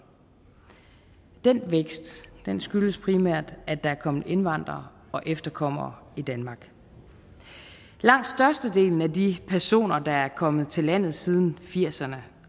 den vækst skyldes primært at der er kommet indvandrere og efterkommere i danmark langt størstedelen af de personer der er kommet til landet siden firserne